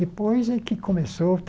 Depois é que começou.